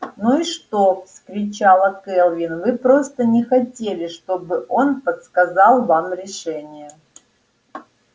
ну и что вскричала кэлвин вы просто не хотели чтобы он подсказал вам решение